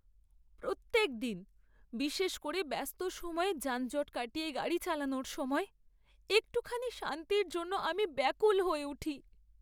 প্রত্যেক দিন, বিশেষ করে ব্যস্ত সময়ে যানজট কাটিয়ে গাড়ি চালানোর সময়, একটুখানি শান্তির জন্য আমি ব্যাকুল হয়ে উঠি।